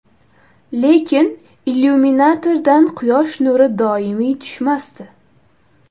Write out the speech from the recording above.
Lekin illyuminatordan quyosh nuri doimiy tushmasdi.